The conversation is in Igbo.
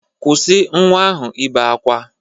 Kwụsị nwa ahụ ibe akwa!